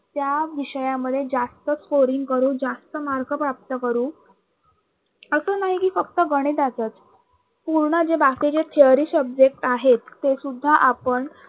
त्या विषयामध्ये जास्त scoring करू जास्त mark प्राप्त करू असं नाही कि फक्त गणिताचच पूर्ण जे बाकी जे theory subject आहेत ते सुद्धा आपण